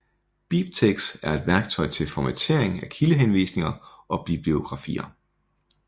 BibTeX er et værktøj til formatering af kildehenvisninger og bibliografier